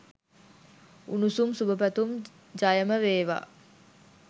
උණුසුම් සුබ පැතුම්. ජයමවේවා.